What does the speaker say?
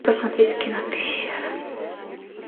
посмотреть кино пещера